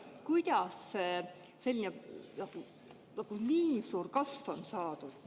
Kuidas selline suur kasv on saadud?